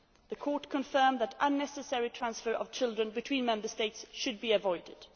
The Court confirmed that the unnecessary transfer of children between Member States should be avoided.